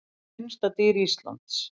Hvert er minnsta dýr Íslands?